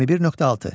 21.6.